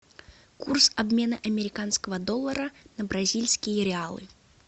курс обмена американского доллара на бразильские реалы